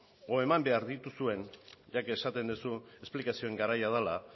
edo eman behar dituzuen ya que esaten duzu esplikazioen garaia dela